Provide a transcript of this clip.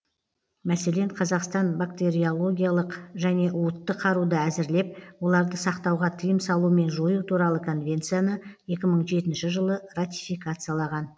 мәселен қазақстан бактериологиялық және уытты қаруды әзірлеп оларды сақтауға тыйым салу мен жою туралы конвенцияны екі мың жетінші жылы ратификациялаған